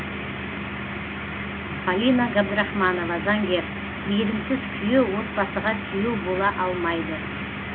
полина габдрахманова заңгер мейірімсіз күйеу отбасыға сүйеу бола алмайды